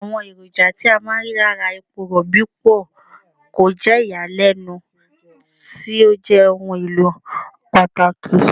Àwọn èròjà tí a máa ń rí lára epo Rọ̀bì pọ̀, kò jẹ́ ìyàlẹ́nu tí ó jẹ́ ohun èlò pàtàkì.